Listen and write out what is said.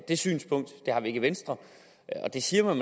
det synspunkt det har vi ikke i venstre og det siger man